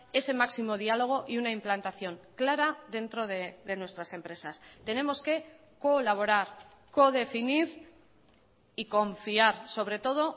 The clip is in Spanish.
ese máximo diálogo y una implantación clara dentro de nuestras empresas tenemos que colaborar codefinir y confiar sobre todo